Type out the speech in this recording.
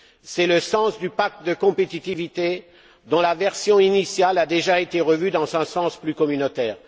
C'est le sens du pacte de compétitivité dont la version initiale a déjà été revue dans un sens plus communautaire.